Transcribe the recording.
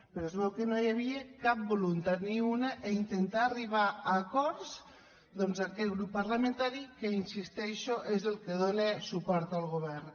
però es veu que no hi havia cap voluntat ni una d’intentar arribar a acords doncs amb aquest grup parlamentari que hi insisteixo és el que dóna suport al govern